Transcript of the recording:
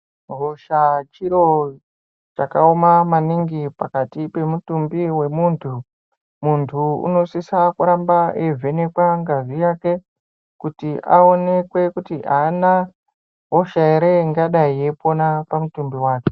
Hosha chiro chakaoma maningi pakati pemutumbi wemuntu. Muntu unosisa kuramba eivhenekwa ngazi yake kuti aonekwe kuti ana hosha ere ingadei yeipona pamutumbi wake.